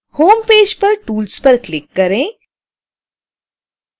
home page पर tools पर click करें